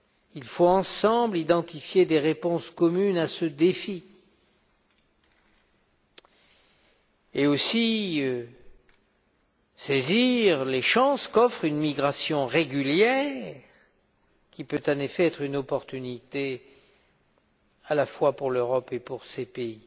Il faut identifier ensemble des réponses communes à ce défi et aussi saisir les chances qu'offre une migration régulière qui peut, en effet, être une opportunité à la fois pour l'Europe et pour les pays